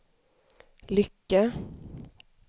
lycka